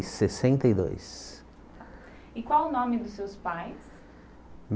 E sessenta e dois E qual o nome dos seus pais?